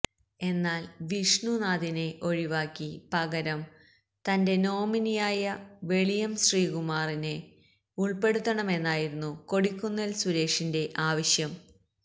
എന്നാൽ വിഷ്ണുനാഥിനെ ഒഴിവാക്കി പകരം തന്റെ നോമിനിയായ വെളിയം ശ്രീകുമാറിനെ ഉൾപ്പെടുത്തണമെന്നായിരുന്നു കൊടിക്കുന്നിൽ സുരേഷിന്റ ആവശ്യം